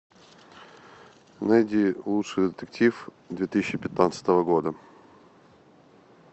найди лучший детектив две тысячи пятнадцатого года